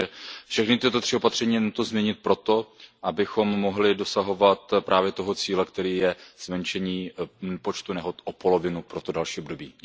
Takže všechna tato tři opatření je nutno změnit proto, abychom mohli dosahovat právě toho cíle, kterým je zmenšení počtu nehod o polovinu pro to další období.